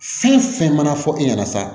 Fɛn fɛn mana fɔ e ɲɛna sa